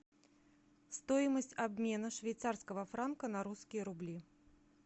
стоимость обмена швейцарского франка на русские рубли